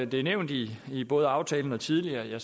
det er nævnt i i både aftalen og tidligere